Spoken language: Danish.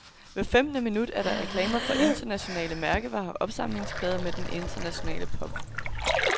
Hvert femtende minut er der reklamer for internationale mærkevarer og opsamlingsplader med den internationale pop.